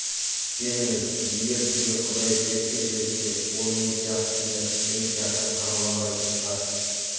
сеніңіз егер сізге құдай періште жіберсе ол мен сияқты киініп мен сияқты қаруланбайтын шығар